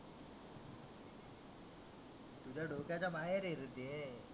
तुझ्या डोक्याच्या बाहेर आहे रे ते